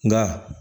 Nka